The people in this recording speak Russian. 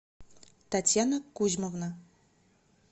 татьяна кузьмовна